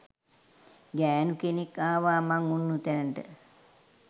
ගෑණු කෙනෙක් ආවා මං උන්නු තැනට